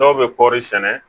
Dɔw bɛ kɔɔri sɛnɛ